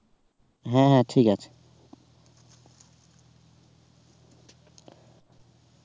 হ্যাঁ ঠিক আছে